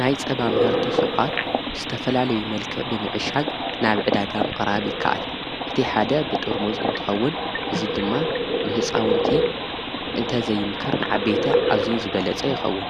ናይ ጸባ ምህርቲ ሥውቓት ብስተፈላለይ መልክዕ ብምዕሻግ ናብ ዕዳጋም ቕራብ ይከኣል እቲ ሓደ ብጥርሙዝ እንትኸውን እዙይ ድማ ንሕፃውንቲ እንተዘይምከር ንዓ ቤተ እዙይ ዝበለጸ የኸውን